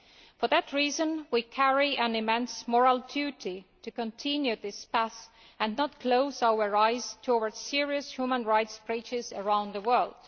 For that reason, we bear an immense moral duty to continue along this path and not close our eyes to serious human rights breaches around the world.